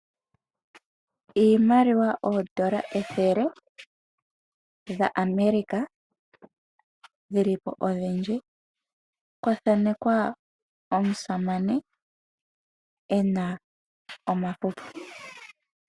Iimaliwa oodola ethele dhaAmerica dhi li po odhindji kwa thanekwa omusamane e na omafufu.